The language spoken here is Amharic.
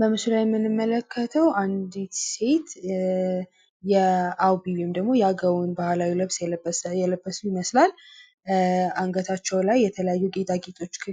በምስሉ ላይ የምንመለከተው አንድት ሴት የአዊ ወይንም ደግሞ የአገው ባህላዊ ልብስ የለበሱ ይመስላል። አንገታቸው ላይ የተለያዩ